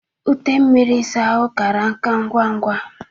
Ute mmiri ịsa ahụ kara nka ngwa ngwa.